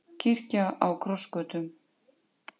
Kirkja á krossgötum